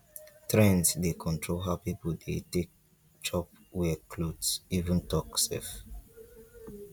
trends dey control how people dey take chop wear cloth even talk sef.